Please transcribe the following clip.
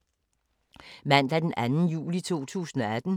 Mandag d. 2. juli 2018